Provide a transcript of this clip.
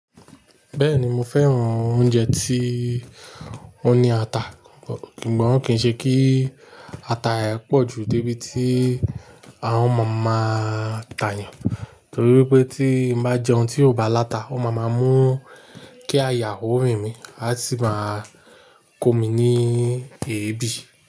Bẹ́ẹ̀ni mo fẹ́ràn oúnjẹ tí ó ní ata, sùgbọ́n kín ṣe kí ata rẹ̀ pọ̀ ju dé bí tí àhán má n máa tà yan, torí pé tí n bá jẹ́un tí ò bá láta, ó máa má mú kí àyà ó rìn mí, á sì máa kó mi ní èébì.